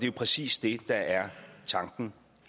jo præcis det der er tanken